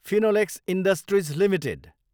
Finolex industries Ltd